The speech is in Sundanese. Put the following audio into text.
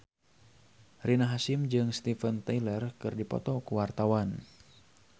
Rina Hasyim jeung Steven Tyler keur dipoto ku wartawan